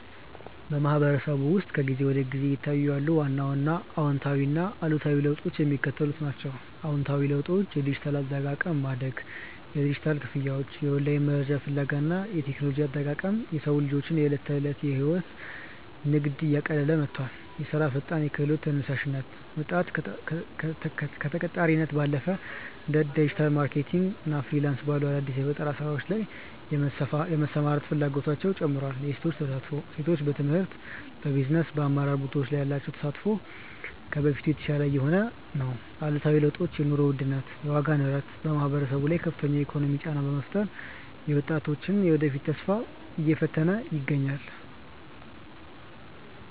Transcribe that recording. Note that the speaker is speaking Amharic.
በማህበረሰቡ ውስጥ ከጊዜ ወደ ጊዜ እየታዩ ያሉ ዋና ዋና አዎንታዊና አሉታዊ ለውጦች የሚከተሉት ናቸው፦ አዎንታዊ ለውጦች የዲጂታል አጠቃቀም ማደግ፦ የዲጂታል ክፍያዎች፣ የኦንላይን መረጃ ፍለጋ እና የቴክኖሎጂ አጠቃቀም የሰዎችን ዕለታዊ ሕይወትና ንግድ እያቀለለ መጥቷል። የሥራ ፈጠራና የክህሎት ተነሳሽነት፦ ወጣቶች ከተቀጣሪነት ባለፈ እንደ ዲጂታል ማርኬቲንግ እና ፍሪላንስ ባሉ አዳዲስ የፈጠራ ሥራዎች ላይ የመሰማራት ፍላጎታቸው ጨምሯል። የሴቶች ተሳትፎ፦ ሴቶች በትምህርት፣ በቢዝነስና በአመራር ቦታዎች ላይ ያላቸው ተሳትፎ ከበፊቱ የተሻለ እየሆነ ነው። አሉታዊ ለውጦች የኑሮ ውድነት፦ የዋጋ ንረት በማህበረሰቡ ላይ ከፍተኛ የኢኮኖሚ ጫና በመፍጠሩ የወጣቶችን የወደፊት ተስፋ እየፈተነ ይገኛል።